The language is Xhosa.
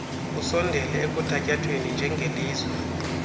usondele ekuthatyathweni njengelizwe